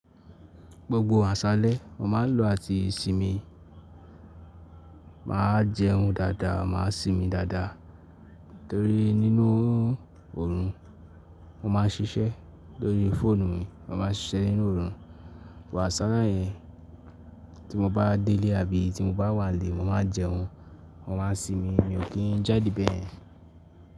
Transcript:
Gbogbo àṣálẹ́ mo máa ń lò àti ìsinmi. M á jẹun dáadáa, máa sinmi dáadáa torí nínú ọ̀run mo máa ń ṣiṣẹ́ lórí fóònù mi. Mo máa ń ṣiṣẹ́ nínú ọ̀run. Wàsálẹ́ yẹn tí mo bá délé àbí tí mo bá wà nílẹ́, mo máa jẹun, mo máa sinmi. Mi ò kí ń jáde bẹ́ẹ̀.